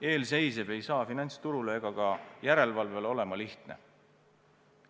Eelseisev ei saa finantsturule ega ka järelevalvele siiski lihtne olema.